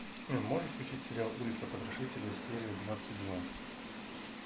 можешь включить сериал улица потрошителя серия двадцать два